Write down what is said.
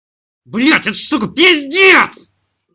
блядь это сука пиздец